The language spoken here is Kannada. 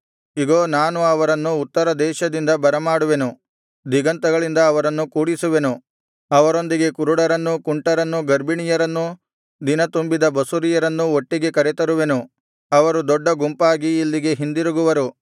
ಇಗೋ ನಾನು ಅವರನ್ನು ಉತ್ತರ ದೇಶದಿಂದ ಬರಮಾಡುವೆನು ದಿಗಂತಗಳಿಂದ ಅವರನ್ನು ಕೂಡಿಸುವೆನು ಅವರೊಂದಿಗೆ ಕುರುಡರನ್ನೂ ಕುಂಟರನ್ನೂ ಗರ್ಭಿಣಿಯರನ್ನೂ ದಿನತುಂಬಿದ ಬಸುರಿಯರನ್ನೂ ಒಟ್ಟಿಗೆ ಕರೆತರುವೆನು ಅವರು ದೊಡ್ಡ ಗುಂಪಾಗಿ ಇಲ್ಲಿಗೆ ಹಿಂದಿರುಗುವರು